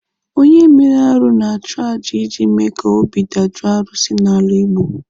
Onye mere arụ na-achụ aja iji mee ka obi dajoo arụsị n'ala Igbo.